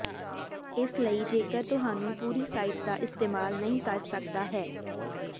ਇਸ ਲਈ ਜੇਕਰ ਤੁਹਾਨੂੰ ਪੂਰੀ ਸਾਈਟ ਦਾ ਇਸਤੇਮਾਲ ਨਹੀ ਕਰ ਸਕਦਾ ਹੈ